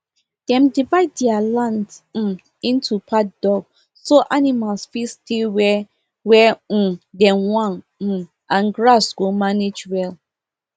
dem divide their land um into paddock so animals fit stay where where um dem want um and grass go manage well